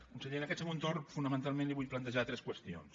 conseller en aquest segon torn fonamentalment li vull plantejar tres qüestions